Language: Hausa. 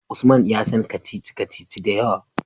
Usman ya san kacici-kacici da yawa